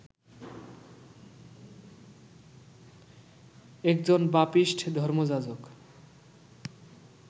একজন বাপ্টিস্ট ধর্মযাজক